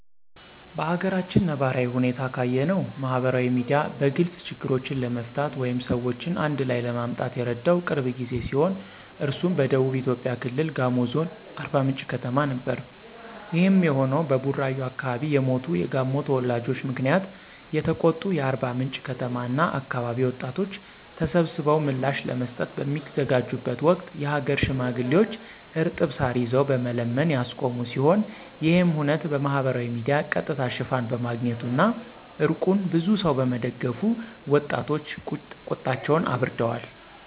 በአገራችን ነባራዊ ሁኔታ ካየነው ማህበራዊ ሚዲያ በግልጽ ችግሮችን ለመፍታት ወይም ሰዎችን አንድላይ ለማምጣት የረዳው ቅርብ ጊዜ ሲሆን እሱም በደቡብ ኢትዮጵያ ክልል ጋሞ ዞን አርባምንጭ ከተማ ነበር። ይሄም የሆነው በቡራዩ አከባቢ የሞቱ የጋሞ ተወላጆች ምክንያት የተቆጡ የአርባምንጭ ከተማ እና አከባቢ ወጣቶች ተሰብስበው ምላሽ ለመስጠት በሚዘጋጁበት ወቅት የሀገር ሽማግሌዎች እርጥብ ሳር ይዘው በመለመን ያስቆሙ ሲሆን ይሄም ሁነት በማህበራዊ ሚዲያ ቀጥታ ሽፋን በማግኘቱ እና እርቁን ብዙ ሰው በመደገፉ ወጣቶች ቁጣቸውን አብርደዋል።